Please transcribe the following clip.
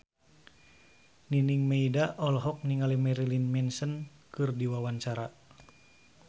Nining Meida olohok ningali Marilyn Manson keur diwawancara